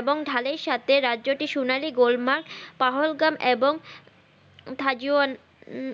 এবং ঢালের সাথে রাজ্য টি সোনালি গোল্মা পাহালগাম এবং গাজন উম